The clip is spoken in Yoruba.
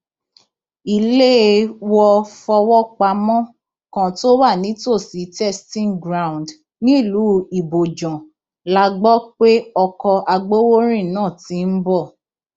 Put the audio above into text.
iléèwọfọwọpamọ kan tó wà nítòsí testing ground nílùú ibojàn la gbọ pé ọkọ agbowórin náà ti ń bọ